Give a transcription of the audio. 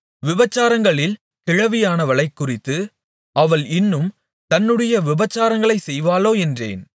விபசாரங்களில் கிழவியானவளைக் குறித்து அவள் இன்னும் தன்னுடைய விபசாரங்களைச் செய்வாளோ என்றேன்